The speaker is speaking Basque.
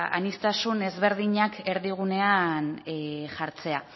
ba aniztasun ezberdinak erdigunean jartzea